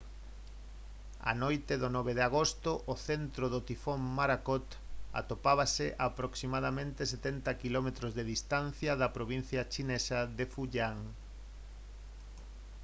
a noite do 9 de agosto o centro do tifón morakot atopábase a aproximadamente setenta quilómetros de distancia da provincia chinesa de fujian